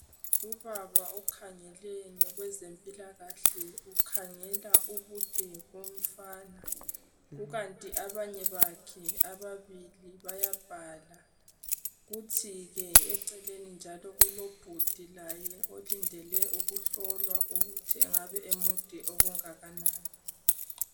ubaba okhangele ngokwezempilakahle ukhangela ubude bomfana ukanti abanye bakhe ababili baya bhala kuthike eceleni kulobhudi laye olindelwe ukuhlolwa ukuhi engabe emude okungakanani